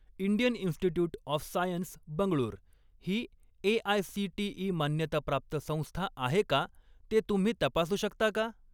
Indian institute of science Bengaluru ही AICTE. मान्यताप्राप्त संस्था आहे का ते तुम्ही तपासू शकता का?